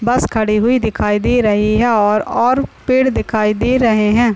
बस खड़ी हुई दिखाई रही है और और पेड़ दिखाई दे रहे हैं।